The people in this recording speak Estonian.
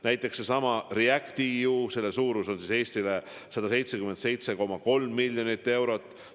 Näiteks sellesama REACT-EU projekti suurus Eestile on 177,3 miljonit eurot.